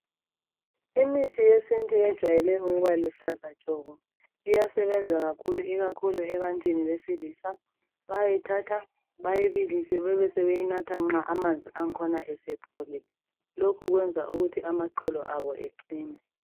Imithi yesiNtu ijayele ukuba luhlaza tshoko. Iyasebenza kakhulu ebantwini besilisa . Bayayithatha bayibilise besebenatha amanzi akhona nxa esepholile lokhu kwenza amaqolo abo aqine.